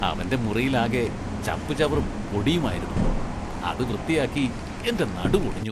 അവന്റെ മുറിയിലാകെ ചപ്പുചവറും പൊടിയുമായിരുന്നു, അത് വൃത്തിയാക്കി എന്റെ നടുവൊടിഞ്ഞു.